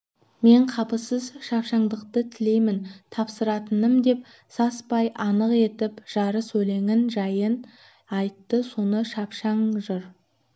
мен қапысыз шапшаңдықты тілеймін тапсыратыным деп саспай анық етіп жарыс өлеңнің жайын айтты соны шапшаң жыр